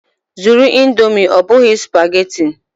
Zụrụ Indomi ọ bụghị spageti!